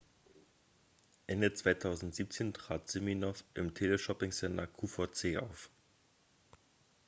ende 2017 trat siminoff im teleshopping-sender qvc auf